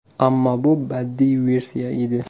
Ammo bu badiiy versiya edi.